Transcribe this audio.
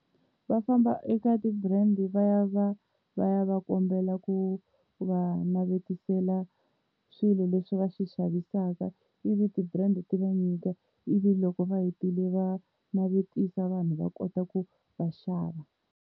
Va famba eka ti-brand va ya va ya va kombela ku va navetisela swilo leswi va swi xavisaka, ivi ti-brand ti va nyika ivi loko va hetile va navetisa vanhu va kota ku va xava.